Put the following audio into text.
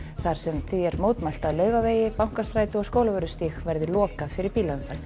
þar sem því er mótmælt að Laugavegi Bankastræti og Skólavörðustíg verði lokað fyrir bílaumferð